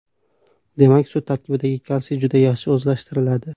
Demak, sut tarkibidagi kalsiy juda yaxshi o‘zlashtiriladi.